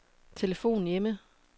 telefon hjemme